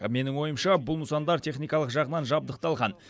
менің ойымша бұл нысандар техникалық жағынан жабдықталған